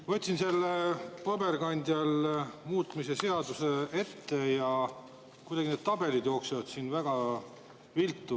Ma võtsin paberkandjal selle muutmise seaduse ette ja kuidagi need tabelid jooksevad siin väga viltu.